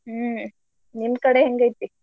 ಹ್ಮ್ ನಿಮ್ ಕಡೆ ಹೆಂಗೈತಿ?